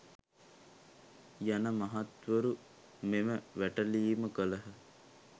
යන මහත්වරු මෙම වැටලීම කළහ.